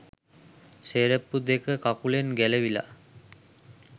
සෙරෙප්පු දෙක කකුලෙන් ගැලවිලා.